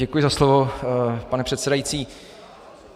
Děkuji za slovo, pane předsedající.